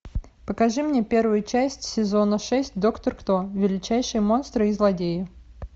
покажи мне первую часть сезона шесть доктор кто величайшие монстры и злодеи